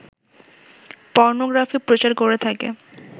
pornography প্রচার করে থাকে